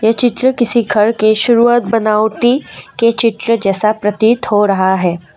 ये चित्र किसी घर की शुरुआत बनावटी के चित्र जैसा प्रतीत हो रहा है।